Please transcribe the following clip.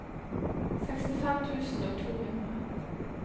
sekstifem tusen og to hundre